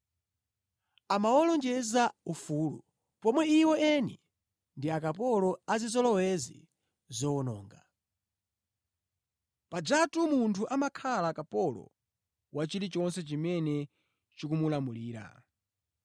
Amawalonjeza ufulu, pomwe iwo eni ndi akapolo a zizolowezi zowononga. Pajatu munthu amakhala kapolo wa chilichonse chimene chikumulamulira.